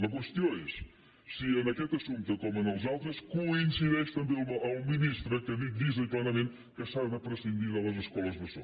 la qüestió és si en aquest assumpte com en els altres coincideix també amb el ministre que ha dit llisament i planament que s’ha de prescindir de les escoles bressol